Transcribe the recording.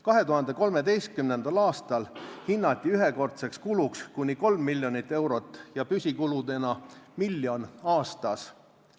2013. aastal hinnati ühekordseks kuluks kuni 3 miljonit eurot ja püsikuludena miljon aastas.